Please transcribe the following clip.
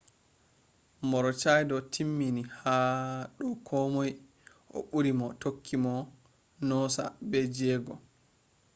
maroochydore timmini ha do komoi o buri mo tokki mo noosa be jego